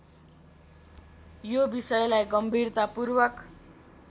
यो विषयलाई गम्भीरतापूर्वक